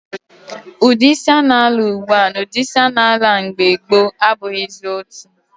Udi isi a na-ala ugbua na udi isi a na-ala na mgbe gboo abughizi otu.